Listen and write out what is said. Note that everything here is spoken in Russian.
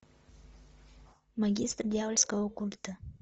магистр дьявольского культа